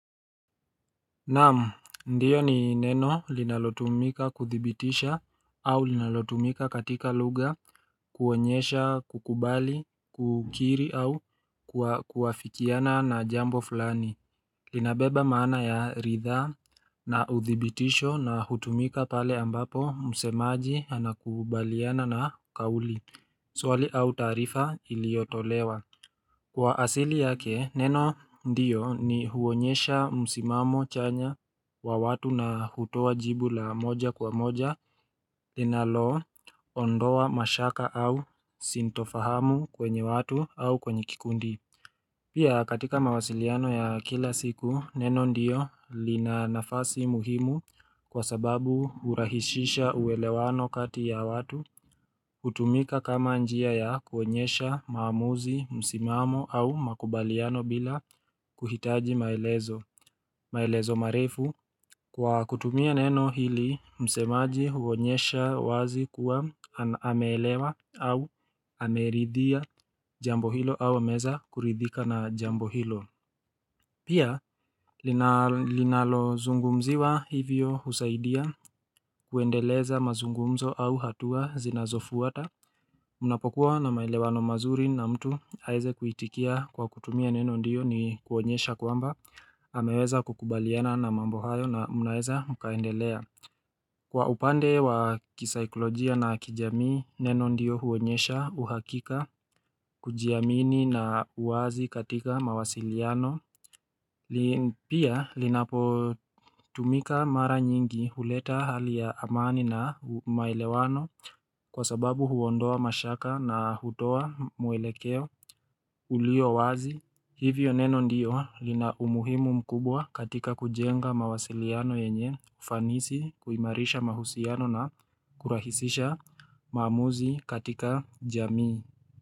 Naam ndiyo ni neno linalotumika kuthibitisha au linalotumika katika lugha kuonyesha kukubali kukiri au kuafikiana na jambo fulani Linabeba maana ya ridhaa na uthibitisho na hutumika pale ambapo msemaji anakubaliana na kauli Swali au taarifa iliyotolewa Kwa asili yake, neno ndiyo ni huonyesha msimamo chanya wa watu na hutoa jibu la moja kwa moja linalo ondoa mashaka au sintofahamu kwenye watu au kwenye kikundi. Pia katika mawasiliano ya kila siku, neno ndiyo lina nafasi muhimu kwa sababu hurahishisha uelewano kati ya watu. Hutumika kama njia ya kuonyesha maamuzi msimamo au makubaliano bila kuhitaji maelezo maelezo marefu kwa kutumia neno hili msemaji huonyesha wazi kuwa ameelewa au ameridhia jambo hilo au ameweza kuridhika na jambo hilo Pia linalo zungumziwa hivyo husaidia kuendeleza mazungumzo au hatua zinazofuata Mnapokuwa na maelewano mazuri na mtu aweze kuitikia kwa kutumia neno ndiyo ni kuonyesha kwamba ameweza kukubaliana na mambo hayo na mnaeza mkaendelea Kwa upande wa kisikolojia na kijamii neno ndiyo huonyesha uhakika kujiamini na uwazi katika mawasiliano Pia linapo tumika mara nyingi huleta hali ya amani na maelewano Kwa sababu huondoa mashaka na hutoa mwelekeo uliyo wazi Hivyo neno ndiyo lina umuhimu mkubwa katika kujenga mawasiliano yenye Fanisi kuimarisha mahusiano na kurahisisha maamuzi katika jamii.